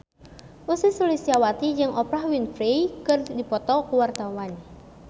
Ussy Sulistyawati jeung Oprah Winfrey keur dipoto ku wartawan